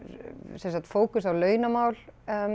sem sagt fókus á launamál